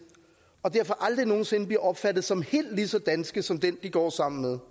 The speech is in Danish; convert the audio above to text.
og de derfor aldrig nogen sinde bliver opfattet som helt lige så danske som dem de går sammen med